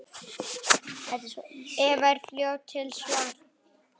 Eva er fljót til svars.